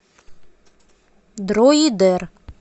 дроидер